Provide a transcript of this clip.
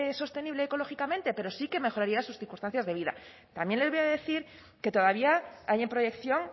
sostenible ecológicamente pero sí que mejoraría sus circunstancias de vida también les voy a decir que todavía hay en proyección